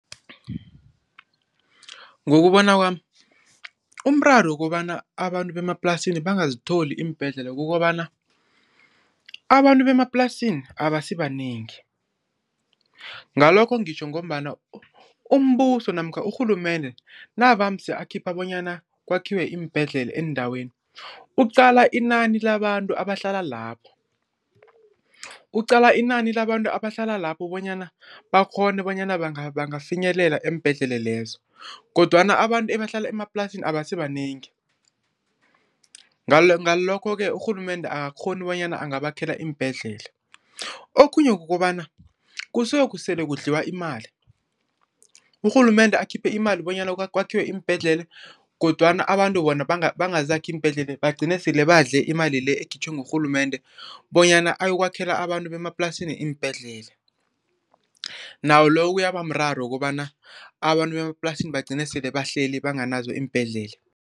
Ngokubona kwami, umraro wokobana abantu bemaplasini bangazithola iimbhedlela kukobana abantu bemaplasini abasibanengi. Ngalokho ngitjho ngombana umbuso namkha urhulumende navamse akhipha bonyana kwakhiwe iimbhedlela eendaweni, ukuqala inani labantu abahlala lapho. Uqala inani labantu abahlala lapho bonyana bakghone bonyana bangangafinyelela eembhedlela lezo kodwana abantu ebahlala emaplasini abasibanengi ngalokho-ke urhulumende akakghoni bonyana angabakhela iimbhedlela. Okhunye kukobana kusuke kusele kudliwe imali. Urhulumende akhiphe imali bonyana kwakhiwe iimbhedlela kodwana abantu bona bangazakhi iimbhedlela, bagcine sele badle imali le ekhitjhwe ngurhulumende bonyana ayokwakhela abantu bemaplasini iimbhedlela. Nawo lo kuyabamraro wokobana abantu bemaplasini bagcine sele bahleli banganazo iimbhedlela.